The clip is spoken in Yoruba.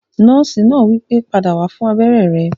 Nọ́ọ̀sì náà wípé, "padà wá fún abéré rẹ!"